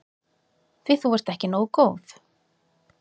Því þú ert ekki nógu góð.